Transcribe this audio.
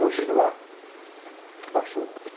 Hoje lá, baixou.